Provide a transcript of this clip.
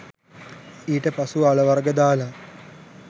ඊට පසුව අල වර්ග දාලා